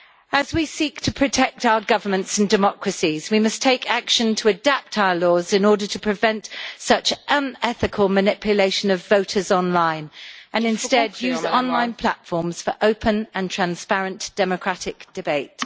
As we seek to protect our governments and democracies, we must take action to adapt our laws in order to prevent such unethical manipulation of voters online, and instead use online platforms for open and transparent democratic debate.